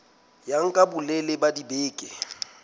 ya nka bolelele ba dibeke